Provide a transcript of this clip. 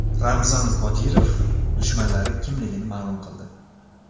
Ramzan Qodirov dushmanlari kimligini ma’lum qildi.